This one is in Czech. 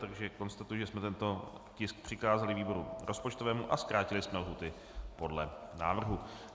Takže konstatuji, že jsme tento tisk přikázali výboru rozpočtovému a zkrátili jsme lhůty podle návrhu.